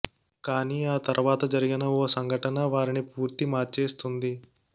కానీ ఆ తర్వాత జరిగిన ఓ సంఘటన వారిని పూర్తి మార్చేస్తుంది